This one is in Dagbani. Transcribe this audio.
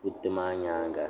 kuriti maa nyaanga